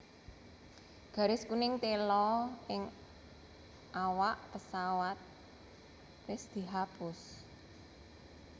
Garis kuning tela ing awak pesawat wis dihapus